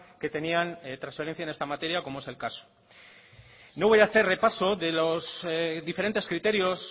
que tenían transferencia en esta materia como es el caso no voy a hacer repaso de los diferentes criterios